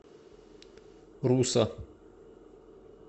руса